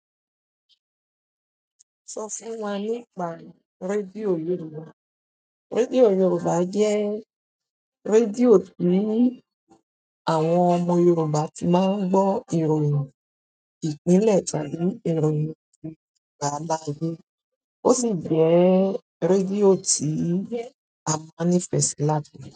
Sọ fún wa nípa rédíò Yorùbá. Rédíò Yorùbá jẹ́ rédíò tí àwọn ọmọ Yorùbá ti máa ń gbọ́ ìròyìn ìpínlẹ̀ tàbí ìròyìn ti agbàláyé. Ó sì jẹ́ rédíò tí a máa nifẹ̀sì láti gbọ́.